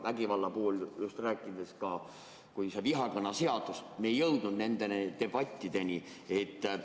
Vägivallast räägiti ka vihakõneseadusega seoses, aga me ei jõudnud nende debattideni.